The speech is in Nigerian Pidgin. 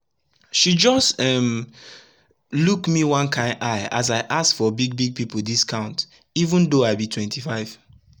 she just um luk me one kain eye as i ask for big big pipu discount even tho i be 25